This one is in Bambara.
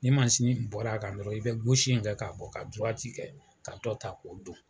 Ni mansin in bɔr'a kan dɔrɔn i bɛ in kɛ k'a bɔ ka kɛ ka dɔ ta k'o don.